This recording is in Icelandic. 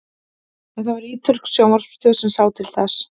en það var ítölsk sjónvarpsstöð sem sá til þess